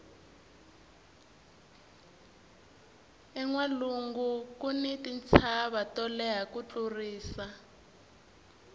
enwalungu kuni tintshava to leha ku tlurisa